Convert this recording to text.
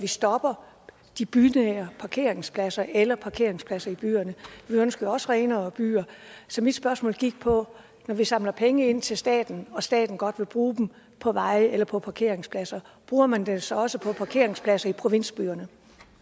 vi stopper de bynære parkeringspladser eller parkeringspladserne i byerne vi ønsker jo også renere byer så mit spørgsmål gik på når vi samler penge ind til staten og staten godt vil bruge dem på veje eller på parkeringspladser bruger man dem så også på parkeringspladser i provinsbyerne